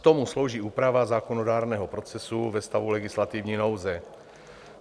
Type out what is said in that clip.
K tomu slouží úprava zákonodárného procesu ve stavu legislativní nouze.